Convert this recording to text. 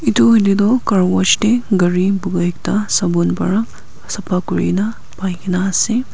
tu edu toh carwash tae gari buka ekta sabon para sapa kurikaena aikae na ase.